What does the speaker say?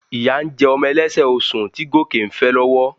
Ìyá ń jẹ ọmọ ẹlẹ́sẹ̀ osùn tí Gòkè ń fẹ́ lọ́wọ́